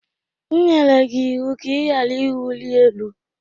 M nyere gị ịwụ ka ị ghara ịwụli elu!